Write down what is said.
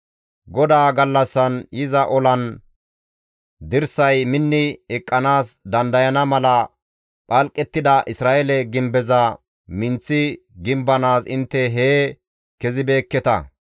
GODAA gallassan yiza olan dirsay minni eqqanaas dandayana mala phalqettida Isra7eele gimbeza minththi gimbanaas intte hee kezibeekketa.